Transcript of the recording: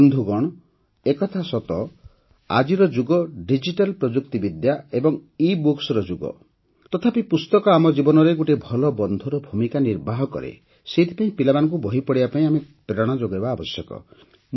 ବନ୍ଧୁଗଣ ଏକଥା ସତ ଆଜିର ଯୁଗ ଡିଜିଟାଲ ପ୍ରଯୁକ୍ତିବିଦ୍ୟା ଏବଂ ଇବୁକ୍ସ ଯୁଗ ତଥାପି ପୁସ୍ତକ ଆମ ଜୀବନରେ ଗୋଟିଏ ଭଲ ବନ୍ଧୁର ଭୂମିକା ନିର୍ବାହ କରେ ସେଥିପାଇଁ ପିଲାମାନଙ୍କୁ ବହି ପଢ଼ିବା ପାଇଁ ଆମେ ପ୍ରେରଣା ଯୋଗାଇବା ଆବଶ୍ୟକ